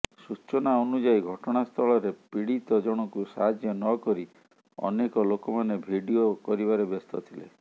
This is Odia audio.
ସୂଚନା ଅନୁଯାୟୀ ଘଟଣାସ୍ଥଳରେ ପିଡୀତ ଜଣଙ୍କୁ ସାହାଯ୍ୟ ନକରି ଅନେକ ଲୋକମାନେ ଭିଡିଓ କରିବାରେ ବ୍ୟସ୍ତ ଥିଲେ